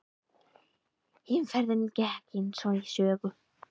Heimferðin gekk eins og í sögu.